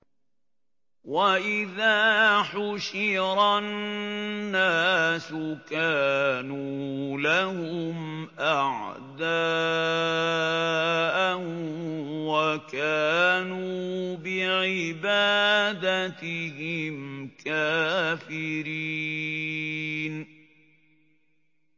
وَإِذَا حُشِرَ النَّاسُ كَانُوا لَهُمْ أَعْدَاءً وَكَانُوا بِعِبَادَتِهِمْ كَافِرِينَ